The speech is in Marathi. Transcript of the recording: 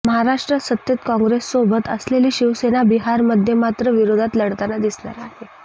महाराष्ट्रात सत्तेत काँग्रेससोबत असलेली शिवसेना बिहारमध्ये मात्र विरोधात लढताना दिसणार आहे